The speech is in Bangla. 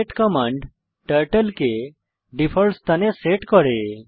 রিসেট কমান্ড টার্টল কে ডিফল্ট স্থানে সেট করে